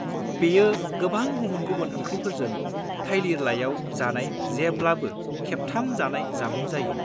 बेयो गोबां गुबुन-गुबुन ओंख्रिफोरजों थाइलिर लाइयाव जानाय जेब्लाबो खेबथाम जानाय जामुं जायो।